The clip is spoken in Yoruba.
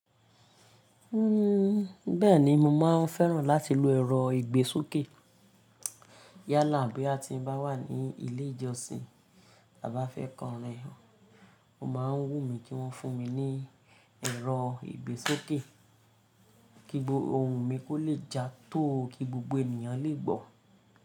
Uhm, bẹ́ẹ̀ni mo máa ń fẹ́ràn láti lo ẹ̀rọ ìgbésókè. Yálà bí a ti bá wà ní ilé ìjọsìn à bá fẹ́ korin, o máa ń wù mí kí wọ́n fún mi ní ẹ̀rọ ìgbésókè. Kí ohùn mi kò le já tóo kí gbogbo ènìyàn lè gbọ́.